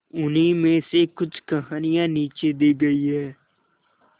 उन्हीं में से कुछ कहानियां नीचे दी गई है